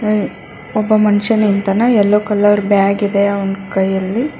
ಹೂಂ ಒಬ್ಬ ಮನುಷ್ಯ ನಿಂತಿನ ಯಲ್ಲೋ ಕಲರ್ ಬ್ಯಾಗ್ ಇದೆ ಅವನ್ ಕೈಯಲ್ಲಿ.